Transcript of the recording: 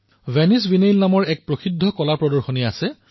Venis Biennale নামৰ এক প্ৰখ্যাত শিল্প প্ৰদৰ্শনী আছে